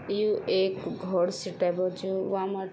यु एक घौर सी टाइपो च वामा --